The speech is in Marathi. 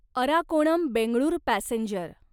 अर्राकोणम बेंगळूर पॅसेंजर